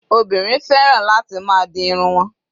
Obìnrin fẹ́ràn láti máa di irun wọn.